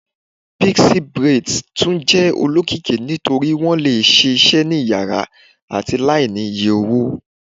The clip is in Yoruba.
Pixie braids tun jẹ olokiki nitori wọn le ṣee ṣe ni iyara ati laini iye owo